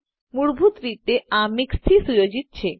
મૂળભૂત રીતે આ મિક્સ થી સુયોજિત છે